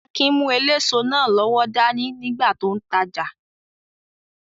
Akin mú eléso náà lọ́wọ́ dání nígbà tó n tajà